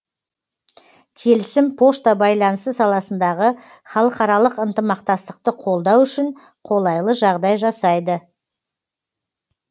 келісім пошта байланысы саласындағы халықаралық ынтымақтастықты қолдау үшін қолайлы жағдай жасайды